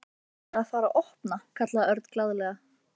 Ætlarðu að fara að opna? kallaði Örn glaðlega.